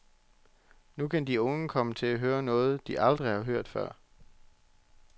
Nu kan de unge komme til at høre noget, de aldrig har hørt før.